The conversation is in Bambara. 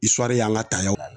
y'an ka tayɛriw